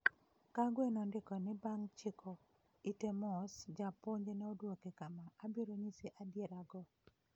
Kagwe nondiko ni bang ' chiko ite mos, Japuonj ne odwoke kama: "Abiro nyisi adierago.